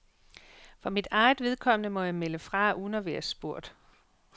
For mit eget vedkommende må jeg melde fra uden at være spurgt.